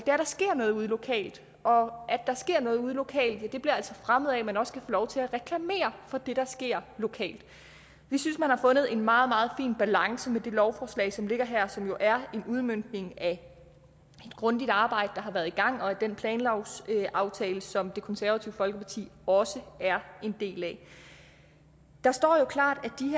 er at der sker noget ude lokalt og at der sker noget ude lokalt bliver altså fremmet af at man også kan få lov til at reklamere for det der sker lokalt vi synes man har fundet en meget meget fin balance med det lovforslag som ligger her som jo er en udmøntning af det grundige arbejde der har været i gang og af den planlovsaftale som det konservative folkeparti også er en del af der står jo klart